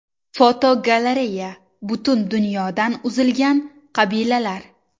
Fotogalereya: Butun dunyodan uzilgan qabilalar.